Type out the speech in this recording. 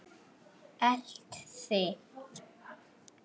Elt þig?